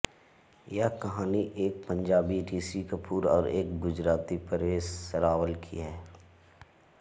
यह कहानी एक पंजाबी ऋषि कपूर और एक गुजराती परेश रावल की है